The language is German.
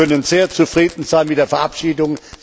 Wir können sehr zufrieden sein mit der Verabschiedung.